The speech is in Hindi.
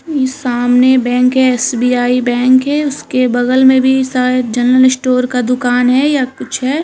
सामने बैंक है एस.बी.आई. बैंक है उसके बगल में भी शायद जनरल स्टोर का दुकान है या कुछ है।